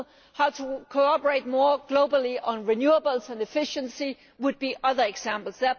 How to cooperate more globally on renewables and efficiency would be other examples.